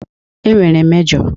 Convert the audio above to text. E nwere mejo.